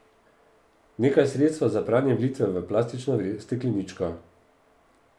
Nekaj sredstva za pranje vlijte v plastično stekleničko.